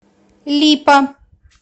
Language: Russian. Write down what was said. липа